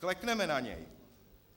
Klekneme na něj!